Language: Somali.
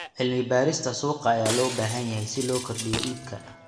Cilmi-baarista suuqa ayaa loo baahan yahay si loo kordhiyo iibka.